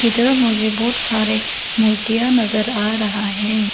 मुझे बहुत सारे मूर्तियां नजर आ रहा है।